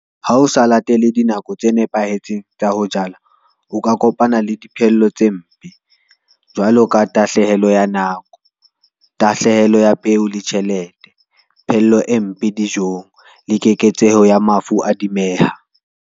Ha o sa latele dinako tse nepahetseng tsa ho jala, o ka kopana le diphello tse mpe, jwalo ka tahlehelo ya nako, tahlehelo ya peo le tjhelete, phello e mpe dijong le keketseho ya mafu a .